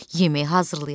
yemək hazırlayaq.